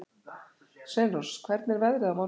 Sveinrós, hvernig er veðrið á morgun?